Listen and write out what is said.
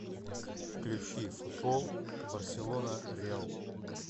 включи футбол барселона реал